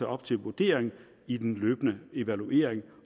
op til vurdering i den løbende evaluering